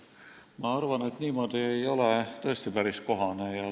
Ma arvan, et niimoodi ei ole päris kohane.